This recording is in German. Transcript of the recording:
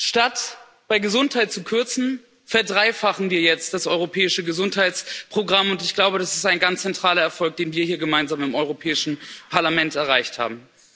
Statt bei Gesundheit zu kürzen, verdreifachen wir jetzt das europäische Gesundheitsprogramm, und ich glaube, das ist ein ganz zentraler Erfolg, den wir hier gemeinsam im Europäischen Parlament erreicht haben.